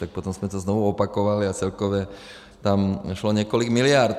Tak potom jsme to znovu zopakovali a celkově tam šlo několik miliard.